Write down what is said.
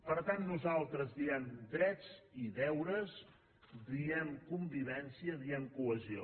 per tant nosaltres diem drets i deures diem con·vivència diem cohesió